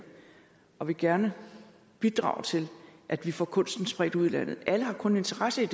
og gerne vil bidrage til at vi får kunsten spredt ud i landet alle har kun en interesse